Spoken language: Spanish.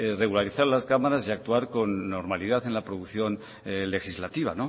regularizar las cámaras y actuar con normalidad en la producción legislativa